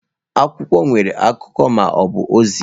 Akwụkwọ nwere akụkọ ma ọ bụ ozi.